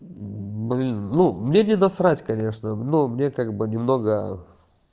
блин ну мне не на срать конечно но мне как бы немного